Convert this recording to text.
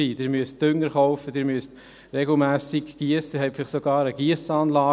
Sie müssen Dünger kaufen, Sie müssen regelmässig giessen, haben vielleicht sogar eine Giessanlage.